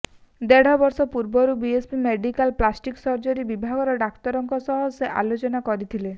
ଦେଢ ବର୍ଷ ପୂର୍ବରୁ ଏସ୍ସିବି ମେଡିକାଲ୍ ପ୍ଲାଷ୍ଟିକ୍ ସର୍ଜରି ବିଭାଗର ଡାକ୍ତରଙ୍କ ସହ ସେ ଆଲୋଚନା କରିଥିଲେ